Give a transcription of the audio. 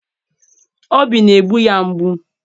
obi na-egbu ya mgbu.